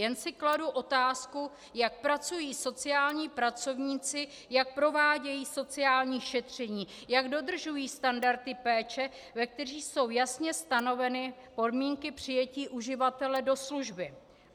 Jen si kladu otázku, jak pracují sociální pracovníci, jak provádějí sociální šetření, jak dodržují standardy péče, ve kterých jsou jasně stanoveny podmínky přijetí uživatele do služby.